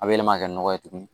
A bɛ yɛlɛma kɛ nɔgɔ ye tugun